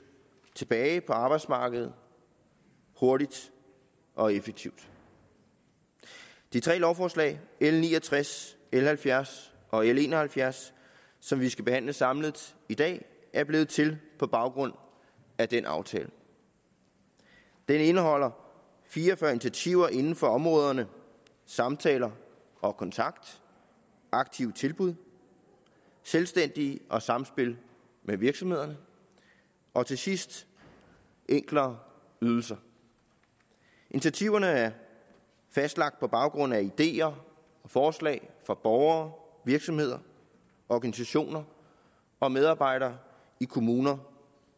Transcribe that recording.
tilbage på arbejdsmarkedet hurtigt og effektivt de tre lovforslag l ni og tres l halvfjerds og l en og halvfjerds som vi skal behandle samlet i dag er blevet til på baggrund af den aftale den indeholder fire og fyrre initiativer inden for områderne samtaler og kontakt aktive tilbud selvstændige og samspil med virksomhederne og til sidst enklere ydelser initiativerne er fastlagt på baggrund af ideer og forslag fra borgere virksomheder organisationer og medarbejdere i kommuner